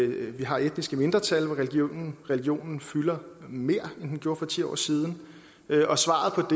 vi har etniske mindretal hvor religionen religionen fylder mere end den gjorde for ti år siden og svaret på